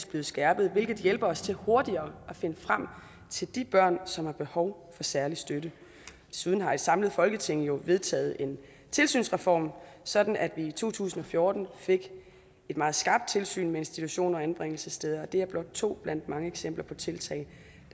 blevet skærpet hvilket hjælper os til hurtigere at finde frem til de børn som har behov for særlig støtte desuden har et samlet folketing jo vedtaget en tilsynsreform sådan at vi i to tusind og fjorten fik et meget skarpt tilsyn med institutioner og anbringelsessteder det er blot to blandt mange eksempler på tiltag